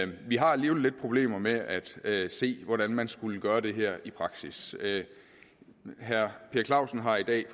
vi har alligevel lidt problemer med at at se hvordan man skulle gøre det her i praksis herre per clausen har i dag